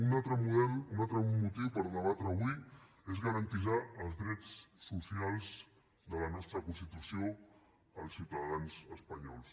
un altre motiu per debatre avui és garantir els drets socials de la nostra constitució als ciutadans espanyols